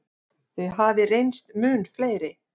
Þau hafi reynst mun fleiri.